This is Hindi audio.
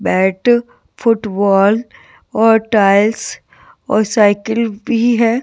बैट फुटबॉल और टाइल्स और साइकिल भी है।